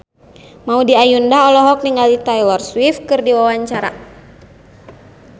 Maudy Ayunda olohok ningali Taylor Swift keur diwawancara